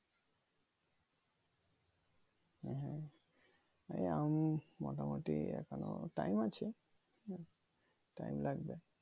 এই আম মোটামুটি এখনো টাইম আছে হম টাইম লাগবে